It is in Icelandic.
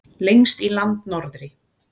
Lengst í landnorðri.